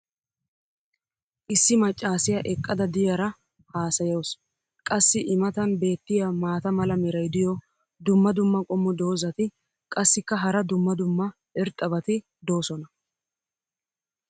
issi macaassiya eqqada diyaara haasayawusu. qassi i matan beetiya maata mala meray diyo dumma dumma qommo dozzati qassikka hara dumma dumma irxxabati doosona.